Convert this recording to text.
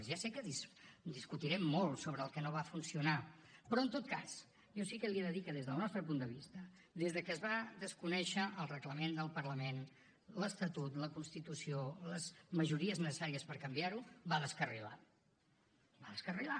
ja sé que discutirem molt sobre el que no va funcionar però en tot cas jo sí que li he de dir que des del nostre punt de vista des que es van desconèixer el reglament del parlament l’estatut la constitució les majories necessàries per canviar ho va descarrilar va descarrilar